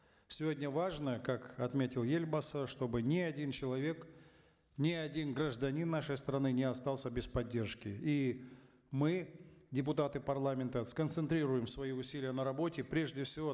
сегодня важно как отметил елбасы чтобы ни один человек ни один гражданин нашей страны не остался без поддержки и мы депутаты парламента сконцентрируем свои усилия на работе прежде всего